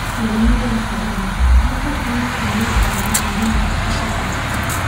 Mũrimũ wa Corona: nĩkĩ kwĩna kumĩra kwa mĩrimũ mĩingĩ ũgwati?